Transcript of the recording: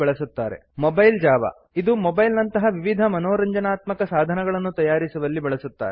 mobile Java mobile Java ಇದು mobile ನಂತಹ ವಿವಿಧ ಮನೋರಂಜನಾತ್ಮಕ ಸಾಧನಗಳನ್ನು ತಯಾರಿಸುವಲ್ಲಿ ಬಳಸುತ್ತಾರೆ